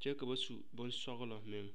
kyɛ ka ba su bonsɔglɔ meŋ.